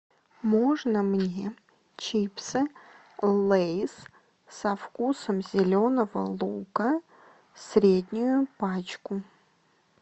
можно мне чипсы лейс со вкусом зеленого лука среднюю пачку